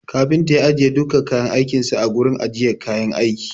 Kafinta ya ajiye dukkan kayan aikin sa a gurin ajiyar kayan aiki.